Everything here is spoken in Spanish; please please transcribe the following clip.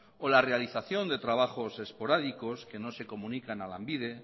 o la realización de trabajos esporádicos que no se comunican a lanbide